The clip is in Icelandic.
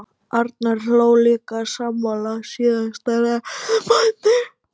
Arnar hló líka, sammála síðasta ræðumanni.